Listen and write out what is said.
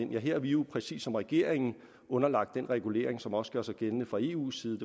ja her er vi jo præcis som regeringen underlagt den regulering som også gør sig gældende fra eu’s side